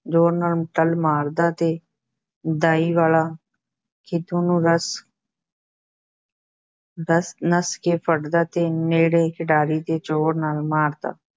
ਜ਼ੋਰ ਨਾਲ ਟੱਲ ਮਾਰਦਾ ਤੇ ਦਾਈ ਵਾਲਾ ਖਿੱਦੋ ਨੂੰ ਨੱਸ ਦੱਸ ਨੱਸ ਕੇ ਫੜਦਾ ਤੇ ਨੇੜੇ ਖਿਡਾਰੀ ਦੇ ਜ਼ੋਰ ਨਾਲ ਮਾਰਦਾ।